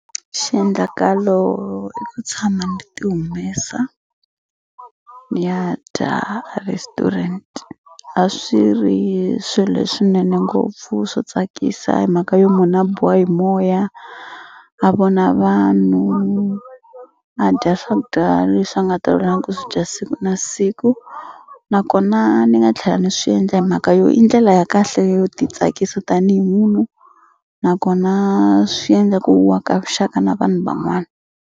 Xiendlakalo i ku tshama ni ti humesa ni ya dya a restaurant a swi ri swi leswinene ngopfu swo tsakisa hi mhaka yo munhu a biwa hi moya a vona vanhu a dya swakudya leswi a nga tolovelanga ku swi dya siku na siku nakona ni nga tlhela ni swi endla hi mhaka yo i ndlela ya kahle yo titsakisa tanihi munhu nakona swi endla ku wa ka vuxaka na vanhu van'wana.